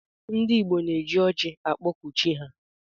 Ndi igbo na eji ọji akpọku chi ha.